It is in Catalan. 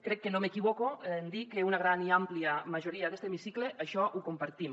crec que no m’equivoco en dir que una gran i àmplia majoria d’este hemicicle això ho compartim